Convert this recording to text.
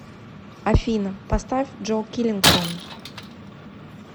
афина поставь джо киллингтон